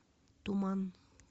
туман